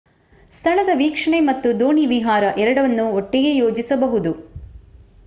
ಸ್ಥಳದ ವೀಕ್ಷಣೆ ಮತ್ತು ದೋಣಿ ವಿಹಾರ ಎರಡನ್ನೂ ಒಟ್ಟಿಗೆ ಯೋಜಿಸಬಹುದು